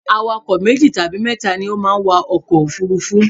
Awakọ̀ meji tabi mẹ́ta ni o ma n wa ọkọ̀ òfurufú